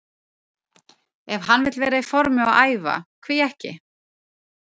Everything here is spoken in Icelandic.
Ef hann vill vera í formi og æfa, hví ekki?